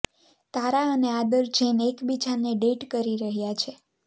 તારા અને આદર જૈન એકબીજાને ડેટ કરી રહ્યા છે